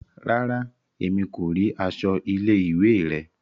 Ràrá, Èmí ko ríi aṣọ ilé-ìwé rẹ